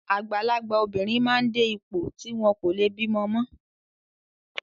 Àgbàlagbà obìnrin máa ń dé ipò tí wọn kò leè bímọ mọ́.